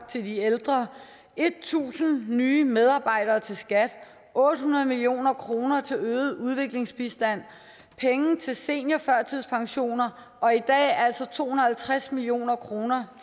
til de ældre tusind nye medarbejdere til skat otte hundrede million kroner til øget udviklingsbistand penge til seniorførtidspensioner og i dag altså to hundrede og halvtreds million kroner